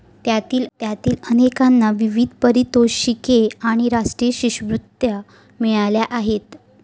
त्यातील अनेकांना विविध पारितोषिके आणि राष्ट्रीय शिष्यवृत्त्या मिळाल्या आहेत.